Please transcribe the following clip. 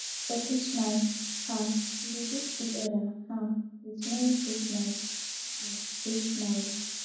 for christmas um we dey greet each other um with merry christmas and big smiles